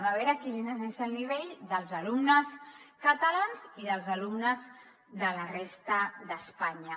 a veure quin és el nivell dels alumnes catalans i dels alumnes de la resta d’espanya